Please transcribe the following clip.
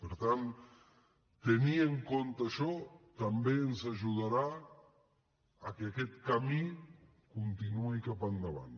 per tant tenir en compte això també ens ajudarà a que aquest camí continuï cap endavant